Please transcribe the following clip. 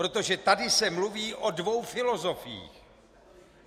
Protože tady se mluví o dvou filozofiích.